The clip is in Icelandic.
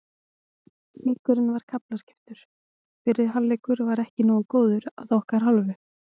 Leikurinn var kaflaskiptur, fyrri hálfleikurinn var ekki nógu góður að okkar hálfu.